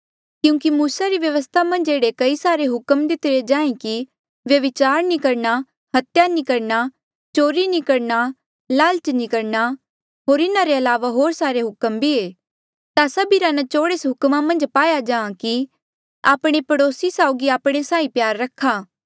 क्यूंकि मूसा री व्यवस्था मन्झ एह्ड़े कई सारे हुक्म दितिरे जिहां कि व्यभिचार नी करणा हत्या नी करणा चोरी नी करणा लालच नी करणा होर इन्हा रे अलावा होर सारे हुक्म भी ऐें ता सभिरा न्चोड़ एस हुक्मा मन्झ पाया जाहाँ कि आपणे पड़ोसी साऊगी आपणे साहीं प्यार रखा